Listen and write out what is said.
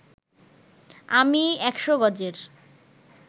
আমি ১০০ গজের